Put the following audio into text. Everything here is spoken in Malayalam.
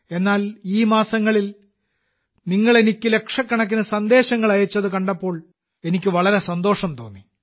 എന്നാൽ ഈ മാസങ്ങളിൽ നിങ്ങൾ എനിക്ക് ലക്ഷക്കണക്കിന് സന്ദേശങ്ങൾ അയച്ചത് കണ്ടപ്പോൾ എനിക്ക് വളരെ സന്തോഷം തോന്നി